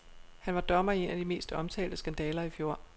Han var dommer i en af de mest omtalte skandaler i fjor.